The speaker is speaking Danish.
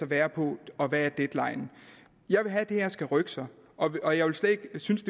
være på og hvad deadline er jeg vil have at det her skal rykke sig og og jeg ville slet ikke synes